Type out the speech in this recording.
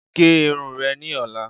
Gé irun re ni ọ̀la